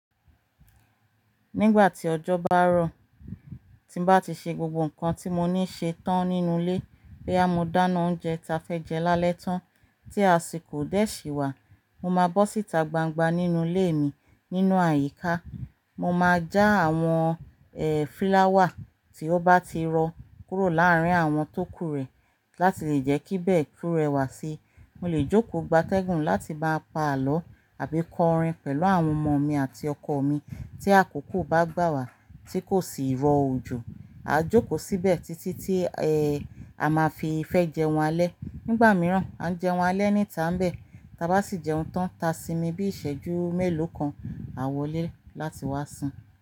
Nígbà tí ọjọ́ bá rọ̀, tí bá ti ṣe gbogbo nǹkan tí mo ní ṣe tán nínú ilé, boya mo dáná oúnjẹ ta fẹ́ jẹ lálẹ́ tán tí a sì kò dẹ̀ sí wà, mo máa bọ́ síta gbangba nínú ilé mi. Nínú àyíká, mo máa já àwọn, ẹ́, fúláwà tí ó bá ti rọ̀ kúrò láàrín àwọn tó kúrẹ̀ láti lè jẹ́ kí ibẹ̀ kú rẹwà sí. Mo lè jókòó gbátẹ́gùn láti máa pa àlọ́ àbí kọ orin pẹ̀lú àwọn ọmọ mi àti ọkọ mi tí àkókò bá gbà wá tí kò sì rọ̀ òjò. A jókòó síbẹ̀ títí tí, ẹ́, a máa fi ìfẹ́ jẹun alẹ́. Nígbà mìíràn, a jẹun alẹ́ níta ńbẹ̀, ta bá sì jẹun tán, ta sími bí ìṣẹ́jú mélòó kan a wọlé láti wá sùn.